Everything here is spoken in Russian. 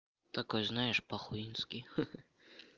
такой знаешь похуистский ха-ха